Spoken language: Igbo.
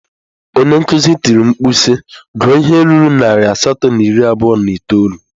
Onye nkuzi tiri mkpu si, gụọ ihe ruru narị asatọ na iri abụọ na itoolu!